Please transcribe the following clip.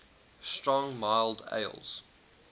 strong mild ales